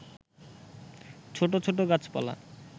ছোট ছোট গাছপালা